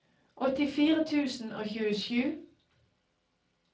åttifire tusen og tjuesju